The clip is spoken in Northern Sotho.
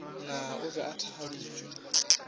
na o be a thakgaditšwe